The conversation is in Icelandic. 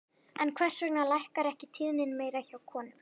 En hvers vegna lækkar ekki tíðnin meira hjá konum?